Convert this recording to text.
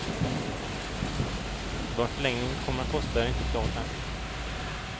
Vad en förlängning kommer att kosta är inte klart än.